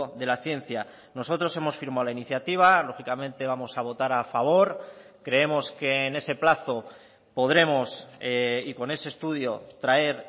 de la ciencia nosotros hemos firmado la iniciativa lógicamente vamos a votar a favor creemos que en ese plazo podremos y con ese estudio traer